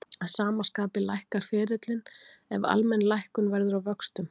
Að sama skapi lækkar ferillinn ef almenn lækkun verður á vöxtum.